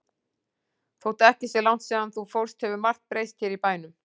Þótt ekki sé langt síðan þú fórst hefur margt breyst hér í bænum.